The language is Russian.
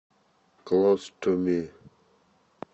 клоз ту ми